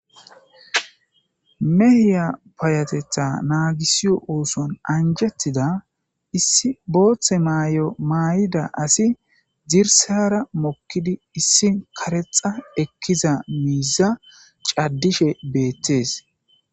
Mehiya payatetha naagisiyo ooson anjettida issi booththe maay'o maay'ida asi zirsara mokkidi issi karexa ekkiza miiza caddishe beettees.